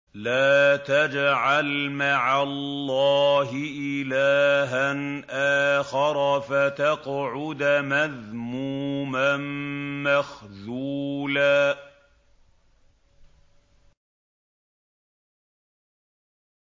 لَّا تَجْعَلْ مَعَ اللَّهِ إِلَٰهًا آخَرَ فَتَقْعُدَ مَذْمُومًا مَّخْذُولًا